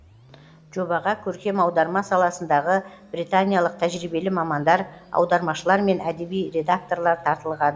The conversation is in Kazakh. жобаға көркем аударма саласындағы британиялық тәжірибелі мамандар аудармашылар мен әдеби редакторлар тартылған